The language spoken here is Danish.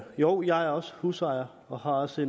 joh jeg er også husejer og har også